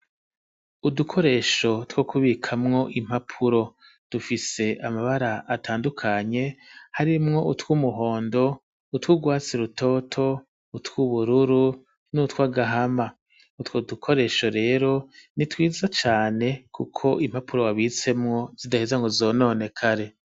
Udukoresho two kubikamwo impapuro, dufise amabara atandukanye, harimwo utw'umuhondo, utw'urwatsi rutoto, utw'ubururu n'utw'agahama; utwo dukoresho rero ni twiza cane, kuko impapuro wabitsemwo zidaheza ngo zononekare.